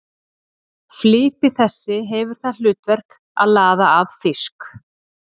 Flipi þessi hefur það hlutverk að laða að fisk.